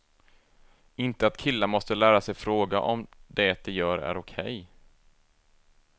Inte att killar måste lära sig fråga om det de gör är okej.